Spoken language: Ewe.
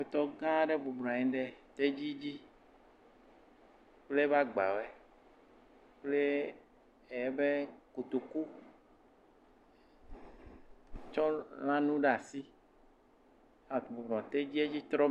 Tɔ gã aɖe bɔbɔnɔ anyi ɖe tedzi dzi kple eƒe agbawo kple kotoku tsɔ lãnu ɖe asi ebɔbɔ nɔ tedzie dzi tsɔ.